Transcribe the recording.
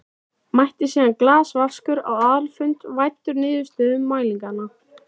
Mætti síðan galvaskur á aðalfund væddur niðurstöðum mælinganna.